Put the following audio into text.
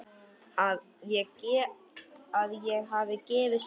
Að ég hafi gefist upp.